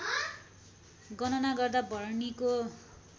गणना गर्दा भरणीको